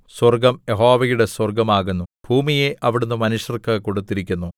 സ്വർഗ്ഗം യഹോവയുടെ സ്വർഗ്ഗമാകുന്നു ഭൂമിയെ അവിടുന്ന് മനുഷ്യർക്ക് കൊടുത്തിരിക്കുന്നു